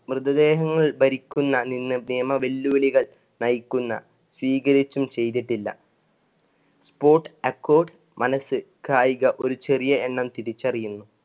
മൃതദേഹങ്ങളുടെ ഭരിക്കുന്ന നിന്ന് നിയമ വെല്ലുവിളികൾ നയിക്കുന്ന സ്വീകരിച്ചും ചെയ്തിട്ടില്ല. sports accord മനസ്സ് കായിക ഒരു ചെറിയ എണ്ണം തിരിച്ചറിയുന്നു.